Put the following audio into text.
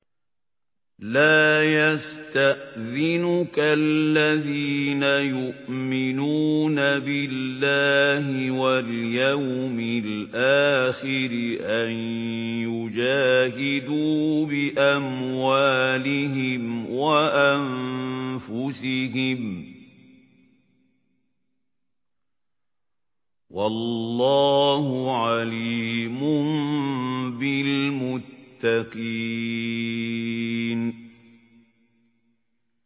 لَا يَسْتَأْذِنُكَ الَّذِينَ يُؤْمِنُونَ بِاللَّهِ وَالْيَوْمِ الْآخِرِ أَن يُجَاهِدُوا بِأَمْوَالِهِمْ وَأَنفُسِهِمْ ۗ وَاللَّهُ عَلِيمٌ بِالْمُتَّقِينَ